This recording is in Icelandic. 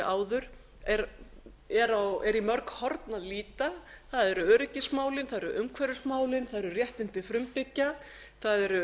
áður er í mörg horn að líta það eru öryggismálin það eru umhverfismálin það eru réttindi frumbyggja það eru